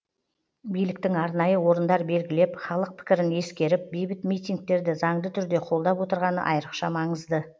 биліктің арнайы орындар белгілеп халық пікірін ескеріп бейбіт митингтерді заңды түрде қолдап отырғаны айрықша маңызды